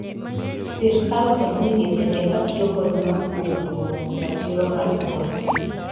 Sirkal kod migepene katiyo kod ma kuon umo ratiro mar twak .